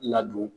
Ladon